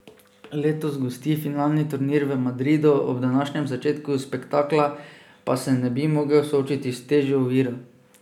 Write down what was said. Letos gosti finalni turnir v Madridu, ob današnjem začetku spektakla pa se ne bi mogel soočiti s težjo oviro.